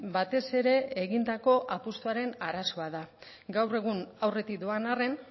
batez ere egindako apustuaren arazoa da gaur egun aurretik doan arren